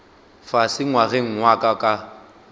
fase ngwageng wa ka wa